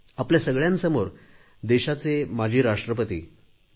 आपल्या सगळ्यांसमोर देशाचे माजी राष्ट्रपती डॉ